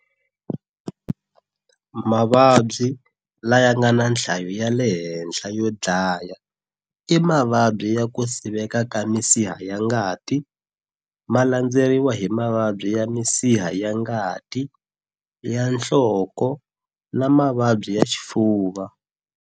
Mavabyi laya ngana nhlayo yalehenhla yo dlaya i mavabyi ya kusiveka ka misiha yangati, malandzeriwa hi mavabyi ya misiha yangati ya nhloko na Mavabyi ya xifuva.